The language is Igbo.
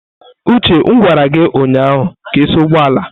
Uche m gwara gi ụnyahụ ka ị saa ụgbọ ala!